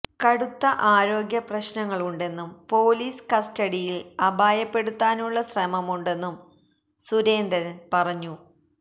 കടുത്ത ആരോഗ്യ പ്രശ്നങ്ങളുണ്ടെന്നും പൊലീസ് കസ്റ്റഡിയില് അപായപ്പെടുത്താനുള്ള ശ്രമമുണ്ടെന്നും സുരേന്ദ്രന് പറഞ്ഞു